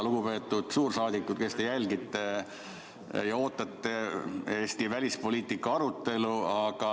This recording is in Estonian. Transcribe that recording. Lugupeetud suursaadikud, kes te jälgite ja ootate Eesti välispoliitika arutelu!